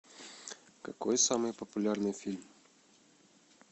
какой самый популярный фильм